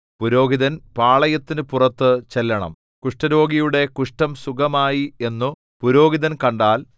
പുരോഹിതൻ പാളയത്തിനു പുറത്ത് ചെല്ലണം കുഷ്ഠരോഗിയുടെ കുഷ്ഠം സുഖമായി എന്നു പുരോഹിതൻ കണ്ടാൽ